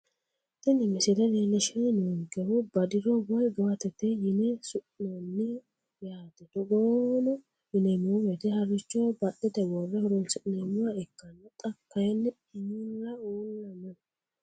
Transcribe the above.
Tini misile leelishani noonkehu badiro woyi gawatete yine su`inani yaate togono yineemowoyite harichoho badhete wore horonsineemoha ikkana xa kayinu mulla uula no.